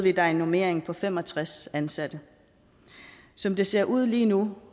er der en normering på fem og tres ansatte som det ser ud lige nu